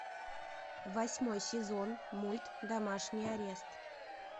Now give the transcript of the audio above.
восьмой сезон мульт домашний арест